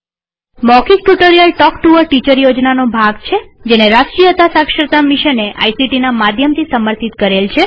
મૌખિક tutorial talk to a teacher યોજનાનો ભાગ છેજેને રાષ્ટ્રીય સાક્ષરતા મિશને આઇસીટી ના માધ્યમથી સમર્થિત કરેલ છે